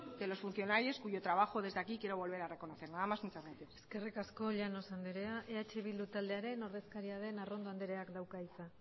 de los funcionarios cuyo trabajo desde aquí quiero volver a reconocer nada más muchas gracias eskerrik asko llanos anderea eh bildu taldearen ordezkaria den arrondo andereak dauka hitza